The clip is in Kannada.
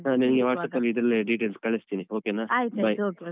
ಹ ನಿನ್ಗೆ WhatsApp ಅಲ್ಲಿ ಇದೆಲ್ಲ details ಕಳಿಸ್ತೀನಿ okay ನಾ bye bye .